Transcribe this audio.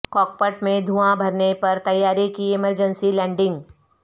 کاک پٹ میں دھواں بھرنے پر طیارے کی ایمرجنسی لینڈنگ